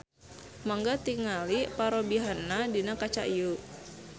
Mangga tingali parobihanna dina kaca ieu.